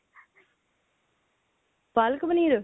ਪਾਲਕ ਪਨੀਰ